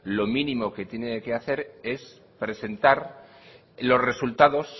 lo mínimo que tiene que hacer es presentar los resultados